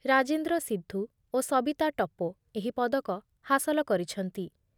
ରାଜେନ୍ଦ୍ର ସିନ୍ଧୁ ଓ ସବିତା ଟପୋ ଏହି ପଦକ ହାସଲ କରିଛନ୍ତି ।